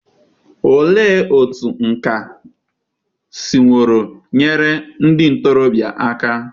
Olee otú nkà siworo nyere ndị ntorobịa aka?